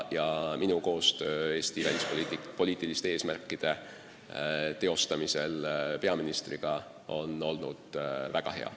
Ja minu koostöö peaministriga on Eesti välispoliitiliste eesmärkide teostamisel olnud väga hea.